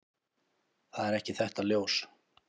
Það er ekki þetta ljós.